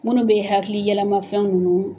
Minnu bɛ hakili yɛlɛmafɛnw ninnu